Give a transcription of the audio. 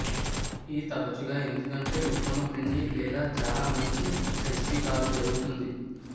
ఈ తరచుగా ఎందుకంటే ఉత్తమ పిండి లేదా చాలా మంచి రెసిపీ కాదు జరుగుతుంది